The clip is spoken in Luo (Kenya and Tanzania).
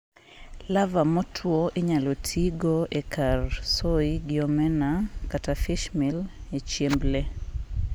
larvae motwo inyalo tiigo e kar soy gi omena/fishmeal e chiemb le